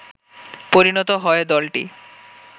পরিনত হয় দলটি